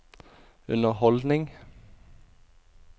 underholdning